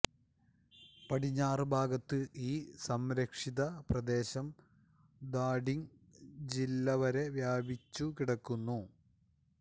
പടിഞ്ഞാറ് ഭാഗത്ത് ഈ സംരക്ഷിത പ്രദേശം ധാഡിങ്ങ് ജില്ല വരെ വ്യാപിച്ചുകിടക്കുന്നു